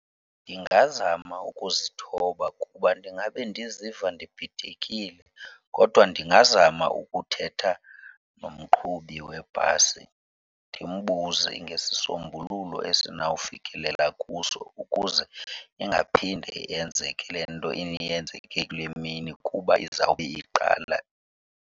Ndingazama ukuzithoba kuba ndingabe ndiziva ndibhidekile kodwa ndingazama ukuthetha nomqhubi webhasi ndimbuze ngesisombululo esinawufikelela kuso ukuze ingaphinde yenzeke le nto eyenzeke kule mini kuba izawube iqala.